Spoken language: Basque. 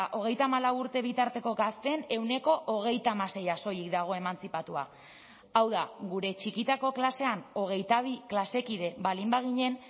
hogeita hamalau urte bitarteko gazteen ehuneko hogeita hamaseia soilik dago emantzipatua hau da gure txikitako klasean hogeita bi klase kide baldin baginen